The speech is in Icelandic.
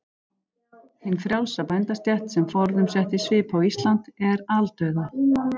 Hin frjálsa bændastétt, sem forðum setti svip á Ísland, er aldauða.